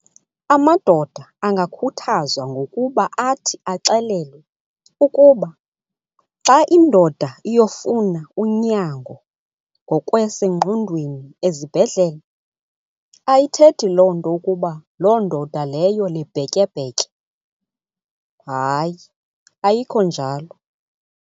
Amadoda angakhuthazwa ngokuba athi axelelwe ukuba xa indoda iyofuna unyango ngokwasengqondweni ezibhedlele ayithethi loo nto ukuba loo ndoda leyo libhetyebhetye, hayi ayikho njalo.